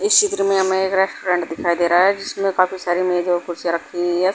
इस चित्र में हमें एक रेस्टोरेंट दिखाई दे रहा है जिसमें काफी सारे मेज और कुर्सियां रखी हुई है।